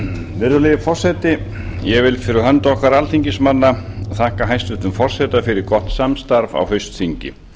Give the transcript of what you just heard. virðulegi forseti ég vil fyrir hönd okkar alþingismanna þakka hæstvirtum forseta fyrir gott samstarf á haustþingi